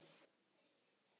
Hvað er til bóta?